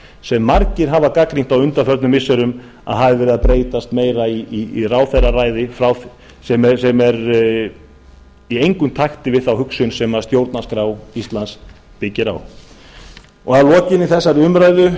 sem margir hafa gagnrýnt á undanförnum missirum að hafi verið að breytast meira í ráðherraræði sem er í engum takti við þá hugsun sem stjórnarskrá íslands byggir á að lokinni þessari umræðu